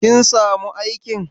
Kin samu aikin?